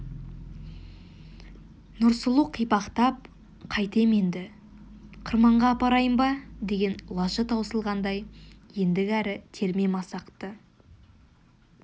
нұрсұлу қипақтап қайтем енді қырманға апарайын ба деген лажы таусылғандай ендігәрі терме масақты